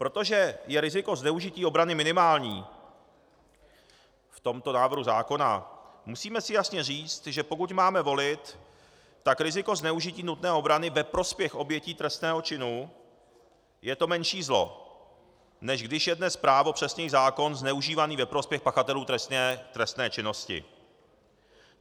Protože je riziko zneužití obrany minimální v tomto návrhu zákona, musíme si jasně říct, že pokud máme volit, tak riziko zneužití nutné obrany ve prospěch obětí trestného činu je to menší zlo, než když je dnes právo, přesněji zákon zneužívaný ve prospěch pachatelů trestné činnosti.